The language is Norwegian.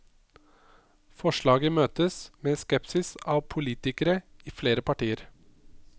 Forslaget møtes med skepsis av politikere i flere partier.